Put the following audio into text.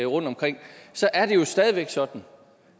rundtomkring så er det jo stadig væk sådan